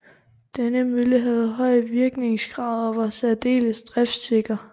Denne mølle havde høj virkningsgrad og var særdeles driftsikker